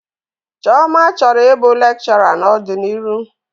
Chioma chọrọ ịbụ lekchọra n'ọdiniru.